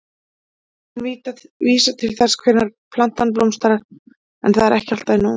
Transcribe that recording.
Heitin vísa til þess hvenær plantan blómstrar en það er ekki alltaf í nóvember.